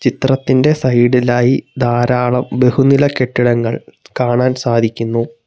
ചിത്രത്തിന്റെ സൈഡ് ലായി ധാരാളം ബഹുനില കെട്ടിടങ്ങൾ കാണാൻ സാധിക്കുന്നു.